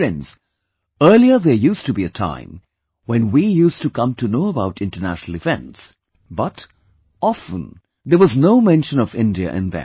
Friends, earlier there used to be a time when we used to come to know about international events, but, often there was no mention of India in them